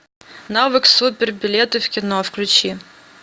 навык супер билеты в кино включи